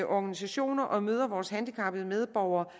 organisationer og møder vores handicappede medborgere